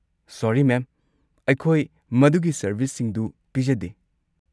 ꯁꯣꯔꯤ, ma'am, ꯑꯩꯈꯣꯏ ꯃꯗꯨꯒꯤ ꯁꯔꯚꯤꯁꯁꯤꯡꯗꯨ ꯄꯤꯖꯗꯦ꯫